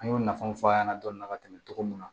An y'o nafaw fɔ a ɲɛna dɔɔni ka tɛmɛ cogo mun na